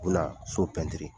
U bina so pɛntiri.